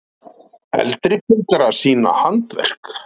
Eldri borgarar sýna handverk